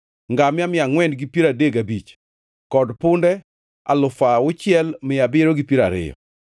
ngamia mia angʼwen gi piero adek gabich (435) kod punde alufu auchiel mia abiriyo gi piero ariyo (6,720).